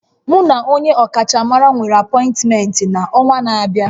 Mu na onye ọkachamara nwere apọịntmentị n'ọnwa na-abịa